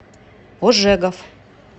ожегов